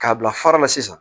K'a bila fara la sisan